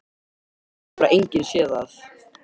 Það getur bara enginn séð það.